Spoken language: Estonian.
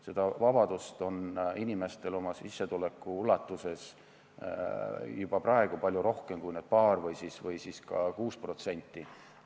Seda vabadust on inimestel oma sissetuleku piires juba praegugi, see paar protsenti või siis ka 6% ei muuda midagi.